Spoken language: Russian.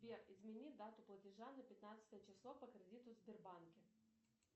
сбер измени дату платежа на пятнадцатое число по кредиту в сбербанке